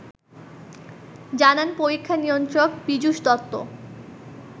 জানান পরীক্ষা নিয়ন্ত্রক পিযুষ দত্ত